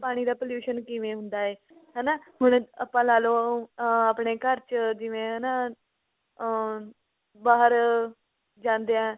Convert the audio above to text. ਪਾਣੀ ਦਾ pollution ਕਿਵੇਂ ਹੁੰਦਾ ਏ ਹਨਾ ਹੁਣ ਆਪਾ ਲਾਲੋ ah ਆਪਣੇ ਘਰ ਚ ਜਿਵੇਂ ਹਨਾ ah ਬਾਹਰ ਜਾਂਦਿਆ